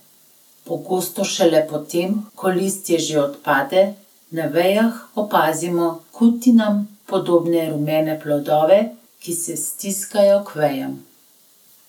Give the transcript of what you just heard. Pogosto šele potem, ko listje že odpade, na vejah opazimo kutinam podobne rumene plodove, ki se stiskajo k vejam.